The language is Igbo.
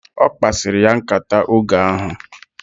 Okpasiri ya nkata oge ahu